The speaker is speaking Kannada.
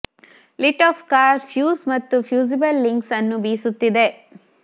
ಲಿಟ್ ಆಫ್ ಕಾರ್ ಫ್ಯೂಸ್ ಮತ್ತು ಫ್ಯೂಸಿಬಲ್ ಲಿಂಕ್ಸ್ ಅನ್ನು ಬೀಸುತ್ತಿದೆ